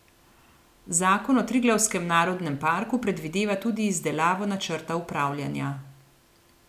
Zakon o Triglavskem narodnem parku predvideva tudi izdelavo načrta upravljanja.